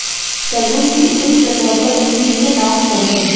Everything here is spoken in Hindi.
तरबूज की ऊपरी सतह पर ऊंगली से नॉक करें